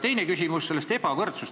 Teine küsimus on ebavõrdsuse kohta.